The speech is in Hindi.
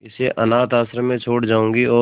इसे अनाथ आश्रम में छोड़ जाऊंगी और